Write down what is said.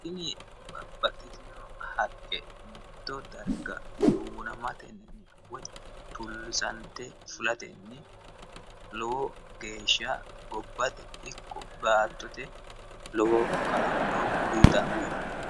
Tini babbaxxitino haqqe mitto darga duunamatenni woyi tulisate fulatenni lowo geeshsha gobbate ikko baattote lowo kaa'lo uyittano.